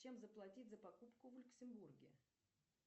чем заплатить за покупку в люксембурге